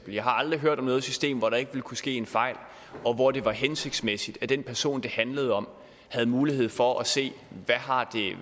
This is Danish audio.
jeg har aldrig hørt om noget system hvor der ikke ville kunne ske en fejl og hvor det var hensigtsmæssigt at den person det handlede om havde mulighed for at se